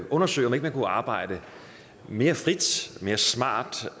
undersøge om ikke man kunne arbejde mere frit mere smart